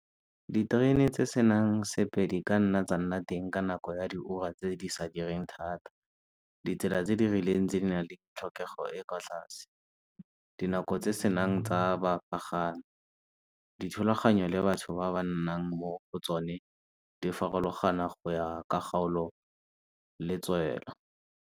Diterene tse senang sepe di ka nna tsa nna teng ka nako ya di ura tse di sa direng thata. Ditsela tse di rileng tse di nang le tlhokego e e kwa tlase, dinako tse senang tsa , dithulaganyo le batho ba ba nnang mo go tsone di farologana go ya ka kgaolo le tswelo.